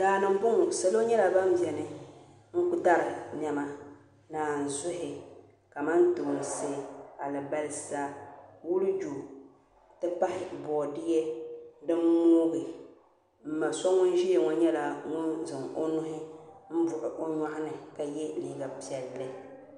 Daani n boŋo salo nyɛla ban bɛ dinni n dari niɛma naanzuhi kamantoonsi alibarisa wuljo n ti pahi boodiyɛ din moogi n ma so ŋun ʒiya ŋo nyɛla ŋun zaŋ o nuhi n buɣu o nyoɣani ka yɛ liiga piɛlli